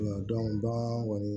bagan kɔni